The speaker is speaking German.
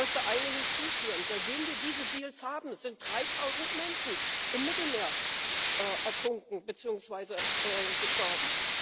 Ich möchte eine hinzufügen Seitdem wir diese Deals haben, sind 3000 Menschen im Mittelmeer ertrunken beziehungsweise gestorben.